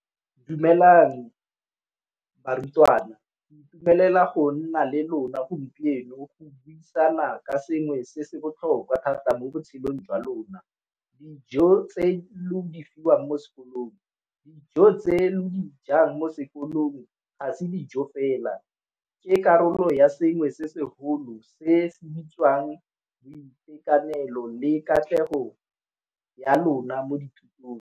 Dumelang barutwana ke itumelela go nna le lona gompieno go buisana ka sengwe se se botlhokwa thata mo botshelong jwa lona. Dijo tse lo di fiwang ko sekolong, dijo tse lo di jang mo sekolong ga se dijo fela ke karolo ya sengwe se segolo se se bitswang boitekanelo le katlego ya lona mo dithutong.